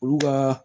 Olu ka